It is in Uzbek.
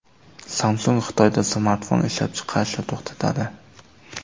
Samsung Xitoyda smartfon ishlab chiqarishni to‘xtatadi.